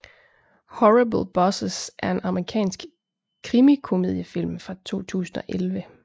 Horrible Bosses er en amerikansk krimikomediefilm fra 2011